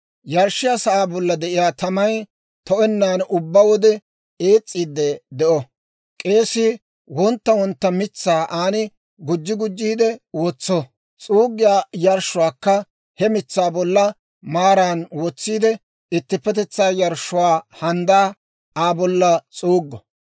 Yarshshiyaa sa'aa bolla de'iyaa tamay to'ennan ubbaa wode ees's'iidde de'o. K'eesii wontta wontta mitsaa aan gujji gujjiide wotso. S'uuggiyaa yarshshuwaakka he mitsaa bolla maaran wotsiide, ittippetetsaa yarshshuwaa handdaa Aa bolla s'uuggo.